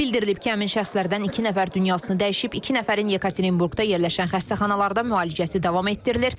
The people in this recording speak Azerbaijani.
Bildirilib ki, həmin şəxslərdən iki nəfər dünyasını dəyişib, iki nəfərin Yekaterinburqda yerləşən xəstəxanalarda müalicəsi davam etdirilir.